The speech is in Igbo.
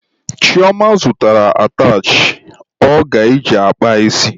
Chioma zụtara atachị ọ ga-eji kpaa isi.